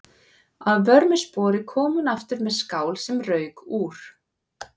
Að vörmu spori kom hún aftur með skál sem rauk úr.